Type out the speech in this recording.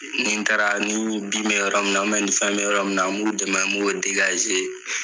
Ni n taara ni bin bɛ yɔrɔ min na u mɛ nin fɛn be yɔrɔ min na n b'u dɛmɛ n b'o degaze.